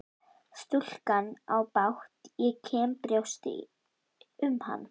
Stúlkan á bágt og ég kenni í brjósti um hana.